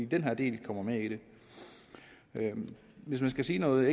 den her del kommer med i det hvis jeg skal sige noget